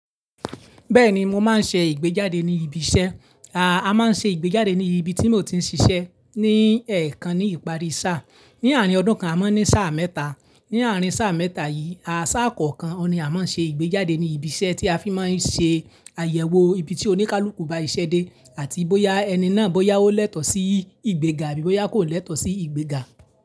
Bẹ́ẹ̀ni, mo máa ń ṣe ìgbéjáde ní ibi iṣẹ́. A máa ń ṣe ìgbéjáde ní ibi tí mo ti ń ṣiṣẹ́ ní ẹ̀ẹ̀kan ní ìparí sáà. Ni àárín ọdún kan a máa ń ní sáà mẹ́ta, ní àárín sáà mẹ́ta yìí, sáà kọ̀ọ̀kan ni a máa ń ṣe ìgbéjáde ní ibi iṣẹ́ tí a fi máa ń ṣe àyẹ̀wò ibi tí oníkálukú ba ṣẹ́dé àti bóyá ẹni náà bóyá ó lẹ́tọ̀ọ́ sí ìgbéga bí bóyá kò lẹ́tọ̀ọ́ sí ìgbéga.